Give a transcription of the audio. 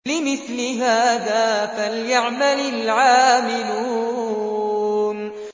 لِمِثْلِ هَٰذَا فَلْيَعْمَلِ الْعَامِلُونَ